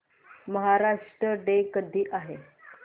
Maharashtra day कधी आहे